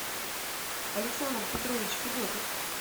александр петрович федотов